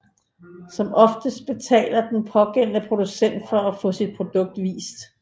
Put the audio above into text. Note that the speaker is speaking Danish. Som oftest betaler den pågældende producent for at få sit produkt vist